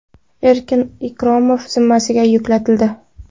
Erkin Ikromov zimmasiga yuklatildi.